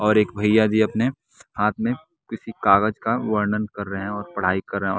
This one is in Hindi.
और एक भैया जी अपने हाथ में किसी कागज का वर्णन कर रहे हैं और पढ़ाई कर रहे हैं।